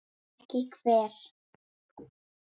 En ekki hver?